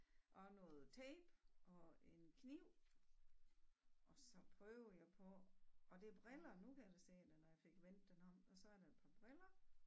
Og noget tape og en kniv og så prøver jeg på og det er briller nu kan jeg da se det når jeg fik vendt den om og så er der et par briller